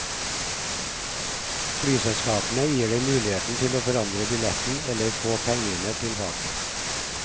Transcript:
Flyselskapene gir deg muligheten til å forandre billetten eller å få pengene tilbake.